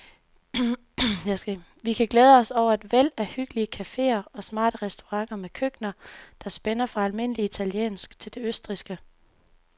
Vi kan glæde os over et væld af hyggelige caféer og smarte restauranter med køkkener, der spænder fra almindelig italiensk til det østrigske.